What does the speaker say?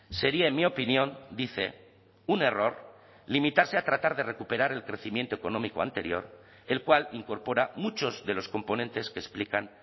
sería en mi opinión dice un error limitarse a tratar de recuperar el crecimiento económico anterior el cual incorpora muchos de los componentes que explican